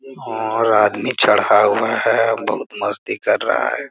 और आदमी चढ़ा हुआ है अ बहुत मस्ती कर रहा है।